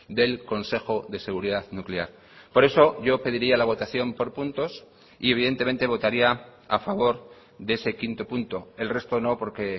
del consejo de seguridad nuclear por eso yo pediría la votación por puntos y evidentemente votaría a favor de ese quinto punto el resto no porque